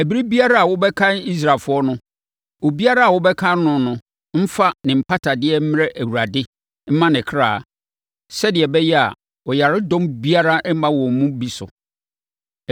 “Ɛberɛ biara a wobɛkan Israelfoɔ no, obiara a wɔbɛkan no no mfa ne mpatadeɛ mmrɛ Awurade mma ne kra, sɛdeɛ ɛbɛyɛ a, ɔyaredɔm biara remma wɔn mu bi so.